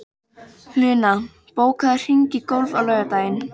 Luna, bókaðu hring í golf á laugardaginn.